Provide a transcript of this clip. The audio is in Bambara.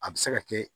A bɛ se ka kɛ